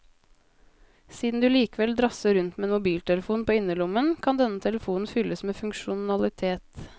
Siden du likevel drasser rundt med en mobiltelefon på innerlommen, kan denne telefonen fylles med funksjonalitet.